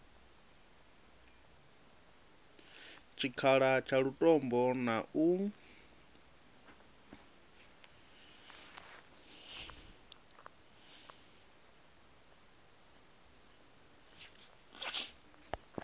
tshikhala tsha lutombo na u